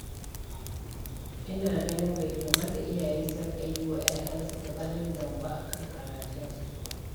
Ina ganin bai kamata iyaye su riƙa yi wa 'ya'yansu katsalandan ba a kan karatunsu.